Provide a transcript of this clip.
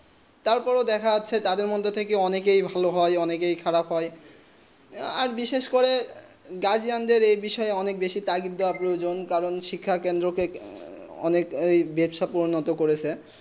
তার পর দেখা যাচ্ছে তা দের মদদে থেকে অনেকে ভালো হয়ে অনেক খারাব হয়ে আর বিশেষ করে গার্জিয়ান রা এই বিষয়ে তাকি দেব প্রয়োজন কারণ শিক্ষা ক্ষেত্রে অনেক বেহেস্ত উন্নত করেছে